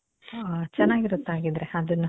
ಓ, ಚನಾಗಿರುತ್ತೆ ಹಾಗಿದ್ರೆ ಅದುನ್ನು.